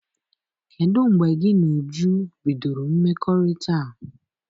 Kedụ mgbe gị na Uju bidoro mmekọrịta a?